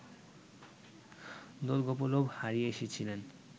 Dolgopolov হারিয়ে এসেছিলেন